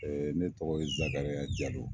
Ne tɔgɔ ye Zakariya Jalo.